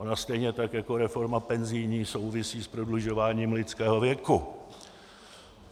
Ona stejně tak jako reforma penzijní souvisí s prodlužováním lidského věku.